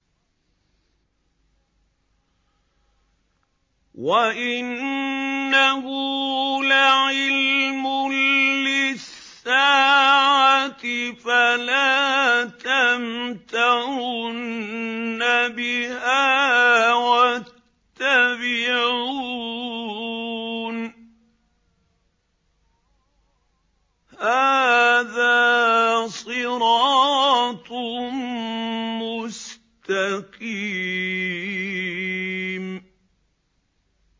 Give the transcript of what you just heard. وَإِنَّهُ لَعِلْمٌ لِّلسَّاعَةِ فَلَا تَمْتَرُنَّ بِهَا وَاتَّبِعُونِ ۚ هَٰذَا صِرَاطٌ مُّسْتَقِيمٌ